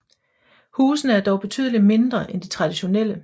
Husene er dog betydelig mindre end de traditionelle